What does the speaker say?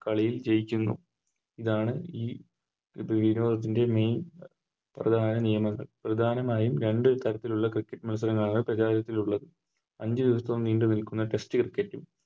കളിയിൽ ജയിക്കുന്നു ഇതാണ് ഈ ഇതിൻറെ ഇതിൻറെ Main പ്രധാന നിയമങ്ങൾ പ്രധാനമായും രണ്ട് തരത്തിലുള്ള Cricket മത്സരങ്ങളാണ് പ്രചാരത്തിലുള്ളത് രണ്ട് ദിവസം നീണ്ട് നിൽക്കുന്ന Test cricket